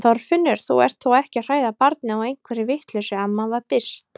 Þorfinnur, þú ert þó ekki að hræða barnið á einhverri vitleysu amma var byrst.